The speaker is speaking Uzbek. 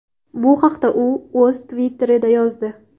Bu haqda u o‘z Twitter’ida yozdi .